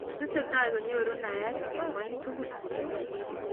Tesetai konyoru naet eng ngwony tugul.